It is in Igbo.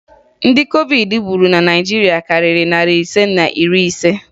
Ndị COVID gburu na Naịjirịa karịrị narị ise na iri ise